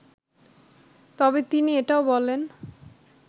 তবে তিনি এটাও বলেন